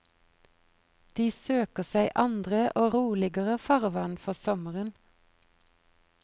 De søker seg andre og roligere farvann for sommeren.